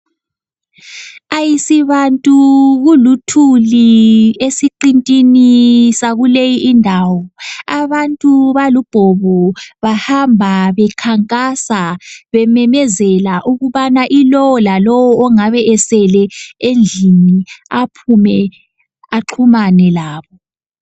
Ayisibantu kuluthuli esiqintini sakuleyi indawo. Abantu balubhobo, bahamba bekhankasa bememezela ukubana ilo lalo ongabesele endlini aphume axhumane labo.